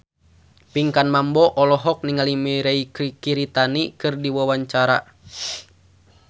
Pinkan Mambo olohok ningali Mirei Kiritani keur diwawancara